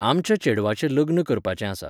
आमच्या चेडवाचें लग्न करपाचें आसा.